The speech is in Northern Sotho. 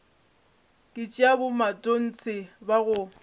ke tša bomatontshe ba go